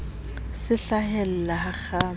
se hlahellahakgama a ne a